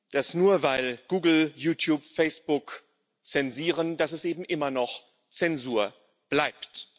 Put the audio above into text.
dass, nur weil Google, YouTube und Facebook zensieren, es eben immer noch Zensur bleibt.